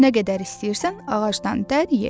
Nə qədər istəyirsən, ağacdan dər ye.